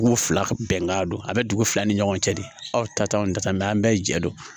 Dugu fila ka bɛnkan don a bɛ dugu fila ni ɲɔgɔn cɛ de aw ta tɛ anw ta an bɛɛ jɛ don